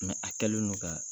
a kɛlen don ka